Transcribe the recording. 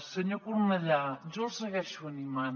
senyor cornellà jo el segueixo animant